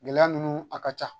Gɛlɛya ninnu a ka ca